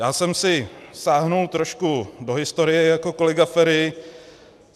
Já jsem si sáhl trošku do historie jako kolega Feri.